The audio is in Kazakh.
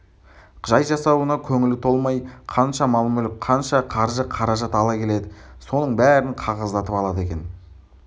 жай жасауына көңілі толмай қанша мал-мүлік қанша қаржы-қаражат ала келеді соның бәрін қағаздатып алады екен